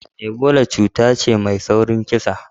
Ebola cuta ce mai saurin kisa.